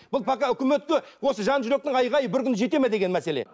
бұл пока өкіметке осы жан жүректің айғайы бір күні жетеді ме деген мәселе